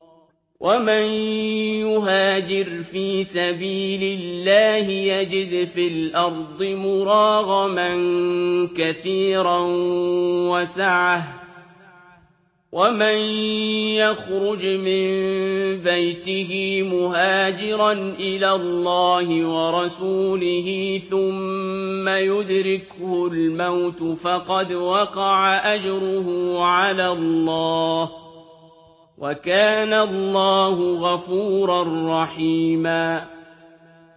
۞ وَمَن يُهَاجِرْ فِي سَبِيلِ اللَّهِ يَجِدْ فِي الْأَرْضِ مُرَاغَمًا كَثِيرًا وَسَعَةً ۚ وَمَن يَخْرُجْ مِن بَيْتِهِ مُهَاجِرًا إِلَى اللَّهِ وَرَسُولِهِ ثُمَّ يُدْرِكْهُ الْمَوْتُ فَقَدْ وَقَعَ أَجْرُهُ عَلَى اللَّهِ ۗ وَكَانَ اللَّهُ غَفُورًا رَّحِيمًا